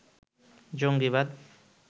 জঙ্গীবাদ